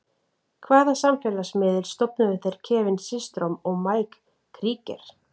Hvaða samfélagsmiðil stofnuðu þeir Kevin Systrom og Mike Krieger?